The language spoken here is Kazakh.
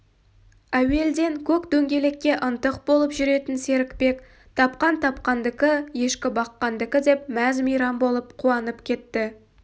әуелден көк дөңгелекке ынтық болып жүретін серікбек тапқан тапқандікі ешкі баққандікі деп мәз-мейрам болып қуанып кетті